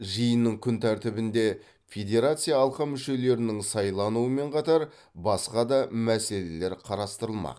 жиынның күн тәртібінде федерация алқа мүшелерінің сайлануымен қатар басқа да мәселелер қарастырылмақ